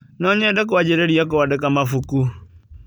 No nyende kũanjĩrĩria kũandĩka mabuku